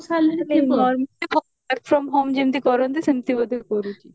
କେତେ salary ଥିବ ମାନେ work from home ଯେମିତି କରନ୍ତି ସେମିତି ବୋଧେ କରୁଛି